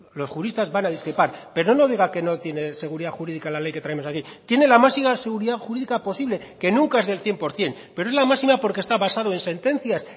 los juristas van a discrepar pero no diga que no tiene seguridad jurídica la ley que traemos aquí tiene la máxima seguridad jurídica posible que nunca es del cien por ciento pero es las máxima porque está basado en sentencias